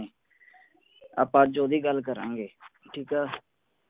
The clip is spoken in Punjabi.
ਆਪਾਂ ਅੱਜ ਓਹਦੀ ਗੱਲ ਕਰਾਂਗੇ ਠੀਕ ਹੈ